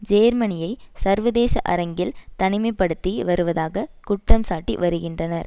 ஜேர்மனியை சர்வதேச அரங்கில் தனிமை படுத்தி வருவதாக குற்றம்சாட்டி வருகின்றனர்